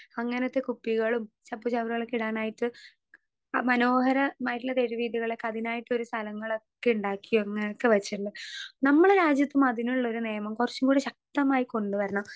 Speaker 2 അങ്ങനത്തെ കുപ്പികളും ചപ്പു ചവറുകളൊക്കെ ഇടാനായിട്ട് മനോഹരമായിട്ട്ള്ള തെരുവ് വീഥികളൊക്കെ അതിനായിട്ടോരോ സ്ഥലങ്ങളൊക്കെ ഇണ്ടാക്കി അങ്ങനെക്കെ വെച്ചിള്ള് നമ്മളെ രാജ്യത്തും അതിനുള്ളൊരു നിയമം കൊറച്ചും കൂടി ശക്തമായി കൊണ്ട് വരണം.